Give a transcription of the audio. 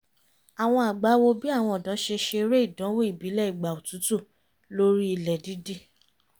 àwọn àgbà wò bì àwọn ọ̀dọ́ ṣe ṣeré ìdánwò ìbílẹ̀ ìgbà otútù lórí ilẹ̀ dídì